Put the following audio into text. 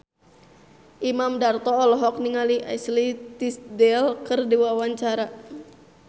Imam Darto olohok ningali Ashley Tisdale keur diwawancara